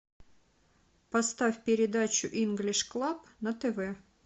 поставь передачу инглиш клаб на тв